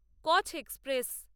কছ এক্সপ্রেস